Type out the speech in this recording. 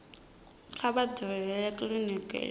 kha vha dalele kiliniki i